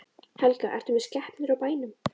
Helga: Ertu með skepnur á bænum?